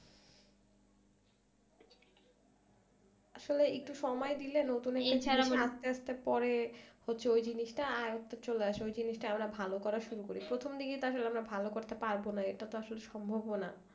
আসলে একটু সময় দিলে নতুন একটা তারপরে তো ওই জিনিসটা আয়ত্ত চলে আসে, ওই জিনিসটা আমরা ভালো করা শুরু করি প্রথম দিকে আমরা আসলে ভালো করতে পারবোনা এটা আসলে সম্ভবও না।